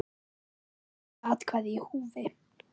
Of mörg atkvæði í húfi?